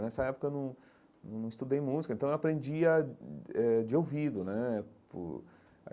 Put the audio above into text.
Nessa época eu não não não estudei música, então eu aprendia hum eh de ouvido né.